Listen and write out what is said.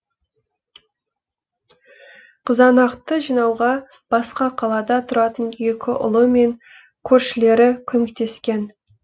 қызанақты жинауға басқа қалада тұратын екі ұлы мен көршілері көмектескен